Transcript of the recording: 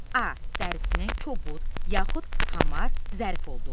A. dərisinin kobud yaxud hamar zərif olduğu.